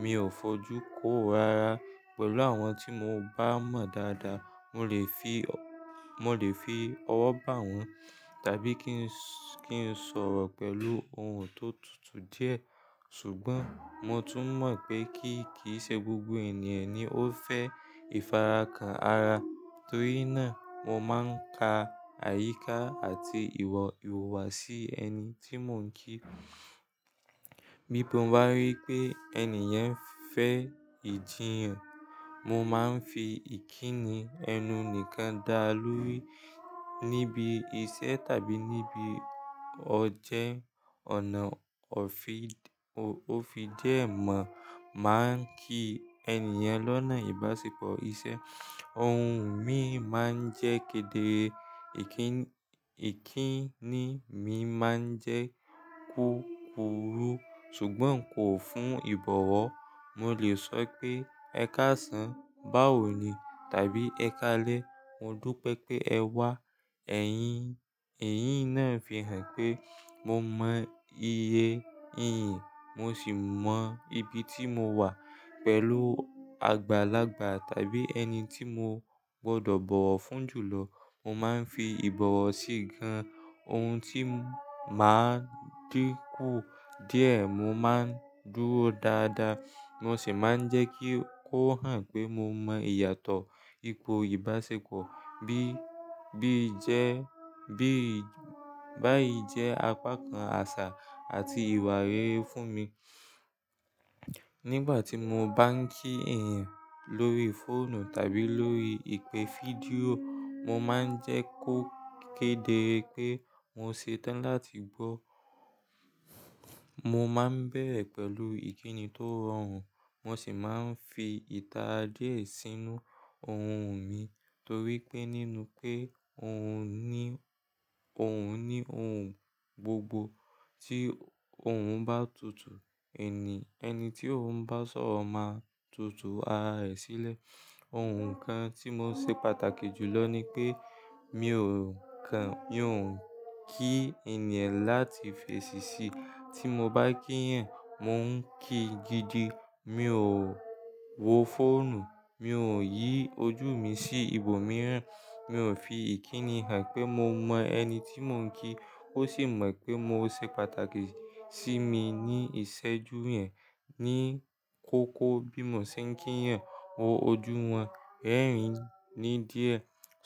mi ò fojú kó ó rara. Pẹ̀lú àwọn tí mo bá mọ̀ dáadáa, mo lè fi ọ mo lè fi ọwọ́ bá wọn tàbí kí n kí n sọ̀rọ̀ pẹ̀lú ohùn tó tutù díẹ̀. Ṣùgbọ́n mo tún mọ̀ pé kí kì í ṣe gbogbo ènìyàn ni ó fẹ́ ìfarakanra torí náà mo máa ń ka àyíká àti ìwuwa sí ẹni tí mò ń kí. Bí mo bá rí pé ẹni yẹn fẹ́ ìjiyàn, mo máa ń fi ìkíni ẹnu nìkan dá a lórí níbi iṣẹ́ tàbí níbi ọjẹ́. Ọ̀nà òfídìẹ́ mọ̀ máa ń kí ènìyàn lọ́nà ìbáṣepọ̀ iṣẹ́. Ohùn mi máa ń jẹ́ kédere ìkíni mi máa ń jẹ́ kúkúrú ṣùgbọ́n kò fún ìbọ̀wọ̀. Mo lè sọ pé "ẹ káàsán, báwo ni?" tàbí "ẹ káalẹ́, mo dú pé pé ẹ wá". Ẹ̀yín ẹ̀yín náà fi hàn pé mo mọ iye ìyìn, mo sì mọ ibi tí mo wà. Pẹ̀lú àgbàlagbà tàbí ẹni tí mo gbọdọ̀ bọ̀wọ̀ fún jùlọ, mo máa ń fi ìbọ̀wọ̀ sí gan-an. Ohun tí màá díkù díẹ̀, mo máa ń dúró dáadáa mo sì máa ń jẹ́ kí ó hàn pé mo mọ ìyàtọ̀ ipò ìbáṣepọ̀ bí bí jẹ́ bí báyìí jẹ́ apá kan àṣà àti ìwà rere fún mi. Nígbà tí mo bá ń kí ènìyàn lórí fóònù tàbí lórí ìpè fídíò, mo máa ń jẹ́ kó kéde pé mo ṣe tán láti gbó. Mo máa ń bẹ̀ẹ́re pẹ̀lú ìkíni tó rọrùn mo sì máa ń fi ìtara díẹ̀ sínú ohùn mi torí pé nínú pé òun ní òun ní ohùn gbogbo tí òhun bá tutù, ẹni ẹni tí òun bá sọ̀rọ̀ máa tu tu ara rẹ̀ sílẹ̀. Ohun kan tí ó ṣe pàtàkì jùlọ ni pé mi ò kan mi ò ń kí ènìyàn láti fèṣìṣí. Tí mo bá kí yan, mò ń kí gidi. Mi ò wo fóònù, mi ò yí ojú mi sí ibòmíràn, mi ò fi ìkíni hàn pé mo mọ ẹni tí mò ń kí ó sì mọ̀ pé mo ṣe pàtàkì sí mi ní ìṣẹ́jú yẹn. Ní kókó bí mo ṣe ń kí yan, wo ojú wọn, rẹ́rìn ín ní díẹ̀,